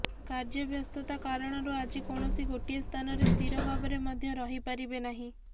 କାର୍ଯ୍ୟବ୍ୟସ୍ତତା କାରଣରୁ ଆଜି କୌଣସି ଗୋଟିଏ ସ୍ଥାନରେ ସ୍ଥିର ଭାବରେ ମଧ୍ୟ ରହି ପାରିବେ ନାହିଁ